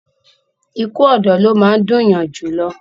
ikú ọ̀dọ́ ló máa ń dùn yan jù lọ